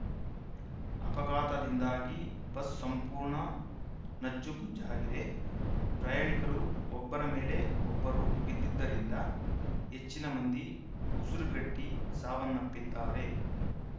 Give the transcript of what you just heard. ಅಪಘಾತದಿಂದಾಗಿ bus ಸಂಪೂರ್ಣ ನಜ್ಜುಗುಜ್ಜಾಗಿದೆ ಪ್ರಯಾಣಿಕರು ಒಬ್ಬರ ಮೇಲೆ ಒಬ್ಬರು ಬಿದ್ದಿದ್ದರಿಂದ ಹೆಚ್ಚಿನ ಮಂದಿ ಉಸಿರುಗಟ್ಟಿಸಾವನ್ನಪ್ಪಿದ್ದಾರೆ